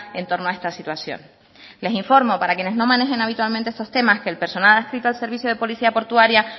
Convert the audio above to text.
en torno a esta situación les informo para quienes no manejen habitualmente estos temas que el personal adscrito al servicio de policía portuaria